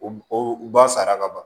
O o ba sara ka ban